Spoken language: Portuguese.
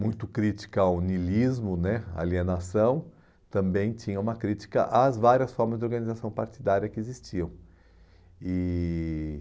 muito crítica ao niilismo né, alienação, também tinha uma crítica às várias formas de organização partidária que existiam. E